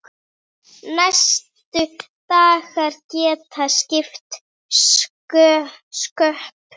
Næstu dagar geta skipt sköpum.